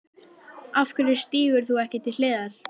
Af hverju stígur þú ekki til hliðar?